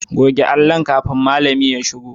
Goge allon kafin malami ya shigo.